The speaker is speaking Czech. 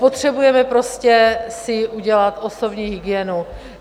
Potřebujeme prostě si udělat osobní hygienu.